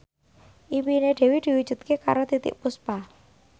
impine Dewi diwujudke karo Titiek Puspa